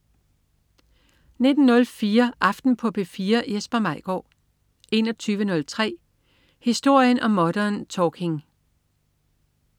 19.04 Aften på P4. Jesper Maigaard 21.03 Historien om Modern Talking